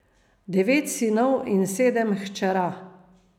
Devet sinov in sedem hčera.